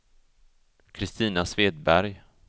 Kristina Svedberg